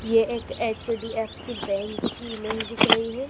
ये एक एच_डी_एफ_सी बैंक की इमेज दिख रही है।